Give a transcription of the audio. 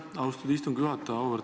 Aitäh, austatud istungi juhataja!